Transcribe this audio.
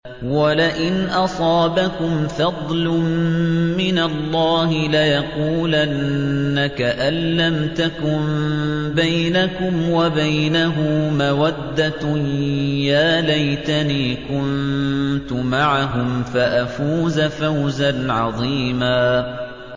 وَلَئِنْ أَصَابَكُمْ فَضْلٌ مِّنَ اللَّهِ لَيَقُولَنَّ كَأَن لَّمْ تَكُن بَيْنَكُمْ وَبَيْنَهُ مَوَدَّةٌ يَا لَيْتَنِي كُنتُ مَعَهُمْ فَأَفُوزَ فَوْزًا عَظِيمًا